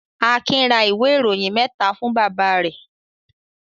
Akin ra ìwé-ìròyìn mẹ́ta fún bàbá rẹ̀?